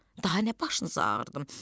Daha nə başınızı ağrıdım?